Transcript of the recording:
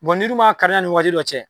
n'i dun m'a kari yani waati dɔ cɛ.